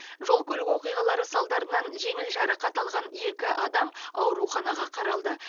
жол көлік оқиғаларынан салдарынан жеңіл жарақат алған екі адам ауруханаға қаралды